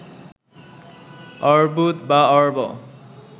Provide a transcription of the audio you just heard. অর্বুদ বা অর্ব